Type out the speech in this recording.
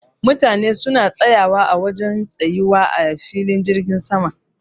Mutane suna tsayawa a wajen tsayuwa a filin jirgin sama.